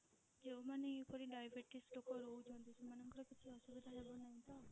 ଯୋଉ ମାନେ ଏହି ପରି diabetes ଲୋକ ରହୁଛନ୍ତି ସେମାନଙ୍କର କିଛି ଅସୁବିଧା ହେବ ନାହିଁ ତ?